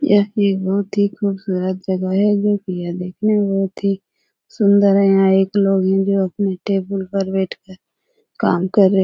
यह एक बहोत ही खूबसूरत जगह है देखने में बहोत ही सुंदर है यहाँ एक लोग हैं जो अपने टेबल पर बैठ कर काम कर रहे --